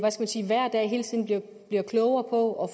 hver dag bliver klogere på og